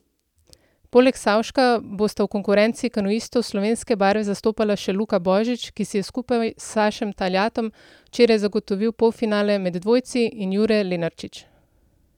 Poleg Savška bosta v konkurenci kanuistov slovenske barve zastopala še Luka Božič, ki si je skupaj s Sašem Taljatom včeraj zagotovil polfinale med dvojci, in Jure Lenarčič.